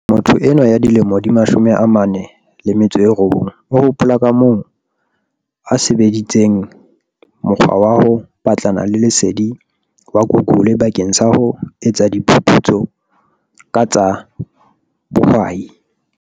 Motho enwa ya dilemo di 49 o hopola kamoo a sebe disitseng mokgwa wa ho batlana le lesedi wa Google bakeng sa ho etsa diphu putso ka tsa bohwai.